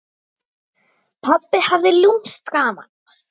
Pabbi hafði lúmskt gaman af.